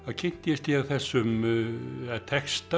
kynntist ég þessum texta